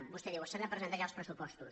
vostè diu s’han de presentar ja els pressupostos